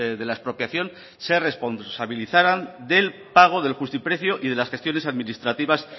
de la expropiación se responsabilizaran del pago del justiprecio y de las gestiones administrativas